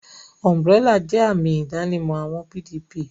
Umburélà jẹ́ àmì ìdánimọ̀ àwọn PDP